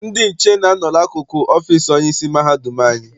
Ndị nche na-a nọ n'akụkụ ọfịịsi onyeisi mahadum anyị.